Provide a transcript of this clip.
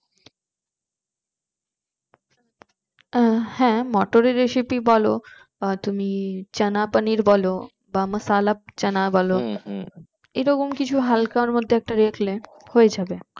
আহ হ্যাঁ মোটর এর recipe বোলো বা তুমি চানাপানির বোলো বা মাসালাচনা বলো এরকম কিছু হাল্কের মধ্যে রাখলে হয়ে যাবে